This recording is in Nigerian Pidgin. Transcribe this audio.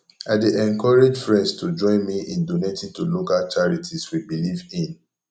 i dey encourage friends to join me in donating to local charities we believe in